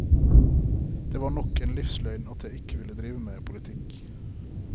Det var nok en livsløgn at jeg ikke ville drive med politikk.